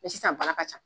sisan baara ka ca